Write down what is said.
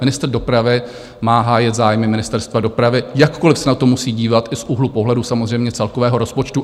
Ministr dopravy má hájit zájmy Ministerstva dopravy, jakkoliv se na to musí dívat i z úhlu pohledu samozřejmě celkového rozpočtu.